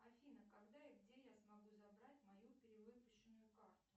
афина когда и где я смогу забрать мою перевыпущенную карту